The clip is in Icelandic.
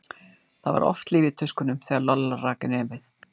Það var oft líf í tuskunum þegar Lolla rak inn nefið.